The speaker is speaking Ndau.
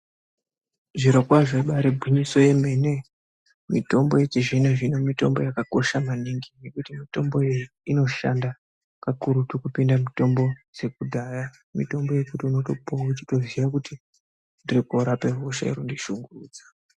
Zvirokwazvo ibari gwinyiso yemene mitombo yechizvino zvino mitombo yakakosha maningi ngekuti mitomboyo inoshanda kakurutu kupinda mitombo dzekudhaya Mitombo yekuti unotopiwa uvhiziya kuti ndiri korape hosha iri kundi shungurudza.